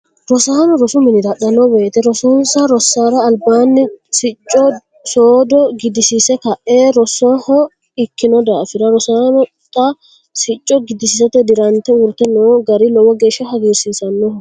Rosaano rosu minnira hadhano woyite rosonsa rosara albaanni sicco soodo gidisiise kae rosanoha ikino daafira rosaano xa sicco gidisiisate dirante uurite noo gari lowo geesha hagirsiisanoho.